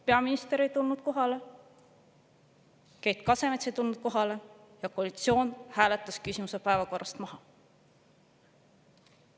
Peaminister ei tulnud kohale, Keit Kasemets ei tulnud kohale ja koalitsioon hääletas küsimuse päevakorrast maha.